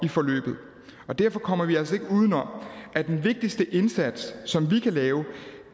i forløbet og derfor kommer vi altså ikke uden om at den vigtigste indsats som vi kan lave